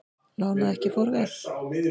Lán að ekki fór ver